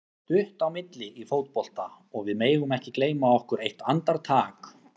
Það er stutt á milli í fótbolta og við megum ekki gleyma okkur eitt andartak.